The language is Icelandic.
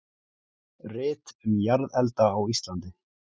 Rit um jarðelda á Íslandi.